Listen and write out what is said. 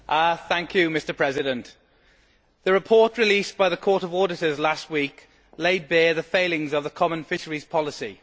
Mr President, the report released by the Court of Auditors last week laid bare the failings of the common fisheries policy.